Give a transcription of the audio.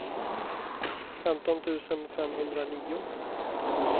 femton tusen femhundranio